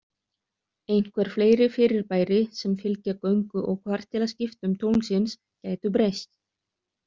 Einhver fleiri fyrirbæri sem fylgja göngu og kvartilaskiptum tunglsins gætu breyst.